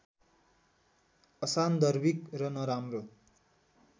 असान्दर्भिक र नराम्रो